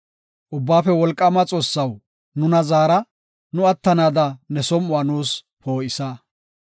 Ubbaafe Wolqaama Xoossaw nuna zaara; nu attanaada ne som7uwa nuus poo7isa.